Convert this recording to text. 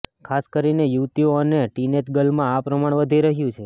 ખાસ કરીને યુવતીઓ અને ટીનએજ ગર્લમાં આ પ્રમાણ વધી રહ્યું છે